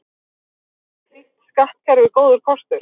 er slíkt skattkerfi góður kostur